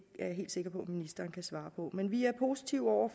jeg helt sikker på at ministeren kan svare på men vi er positive over